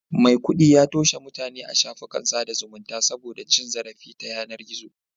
Maikudi ya toshe mutane a shafukan sada zumunta saboda cin zarafi ta yanar gizo